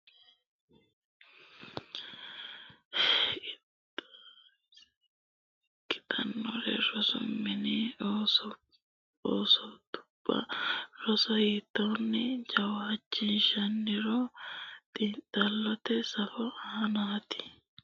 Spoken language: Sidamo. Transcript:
Qixxaawosi xintantinohuno rosaano nabbawatenna borreessate hiitto assite rossannoro rosa hiittoonni kalanqennitanna hagiirsiissannota ikkitannoronna rosu mini assootubba roso hiittoonni jawaachishshannoro xiinxallote safo aanaati.